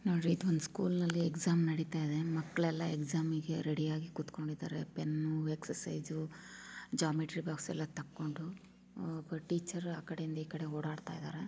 ನೋಡ್ರಿ ಇದು ಒಂದು ಸ್ಕೂಲ್ ನಲ್ಲಿ ಎಕ್ಸಾಮ್ ನಡೀತಾಇದೆ. ಮಕ್ಳ್ ಎಲ್ಲಾ ಎಕ್ಸಾಮಿ ಗೆ ರೆಡಿ ಆಗಿ ಕುತ್ಕೊಂಡಿದ್ದಾರೆ. ಪೆನ್ ಎಕ್ಸರ್ಸೈಜ್ ಜಾಮೇಟ್ರಿ ಬಾಕ್ಸ್ ಎಲ್ಲಾ ತಕ್ಕೊಂಡು ಅಹ್ ಒಬ್ಬ ಟೀಚರ್ ಆಕಡೆಯಿಂದ ಇಕಡೆ ಓಡಾಡ್ತಾ ಇದ್ದಾರೆ.